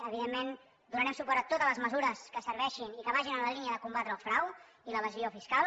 evidentment donarem suport a totes les mesures que serveixin i que vagin en la línia de combatre el frau i l’evasió fiscal